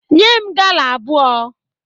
Nye m gala abụọ!